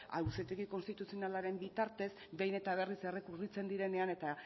auzitegi konstituzionalaren bitartez behin eta berriz errekurritzen direnean eta